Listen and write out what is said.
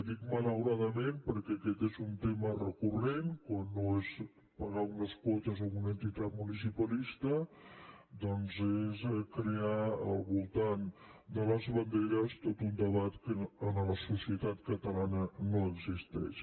dic malauradament perquè aquest és un tema recurrent quan no és pagar unes quotes a una entitat municipalista doncs és crear al voltant de les banderes tot un debat que a la societat catalana no existeix